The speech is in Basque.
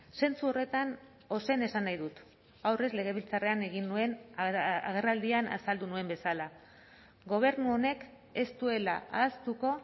zentzu horretan ozen esan nahi dut aurrez legebiltzarrean egin nuen agerraldian azaldu nuen bezala gobernu honek ez duela ahaztuko